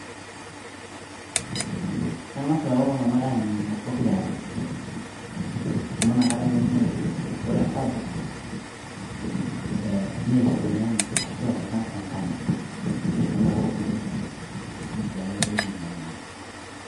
Kengas lelo tunganaa aninguno pooki are amu nakata na etum airiamari ,ore enkae ee neishimiana ashu epika enkanyit amu nakata naa etum atiamari neisiayia duo tina aji nabo.